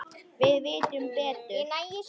Við vitum betur